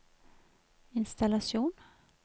innstallasjon